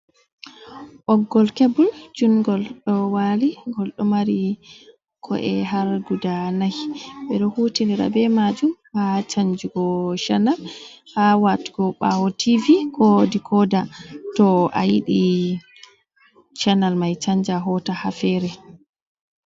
Ɓoggol kebul junngol ɗo waali, ngol ɗo mari ko’e har guda nayi. Ɓe ɗo hutinira be maajum haa canjugo canal, haa watugo ɓaawo tiivi ko dikoda, to a yiɗi canal may canja hoota haa feere.